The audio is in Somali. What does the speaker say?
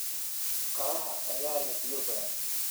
Qaraha ayaa leh biyo badan.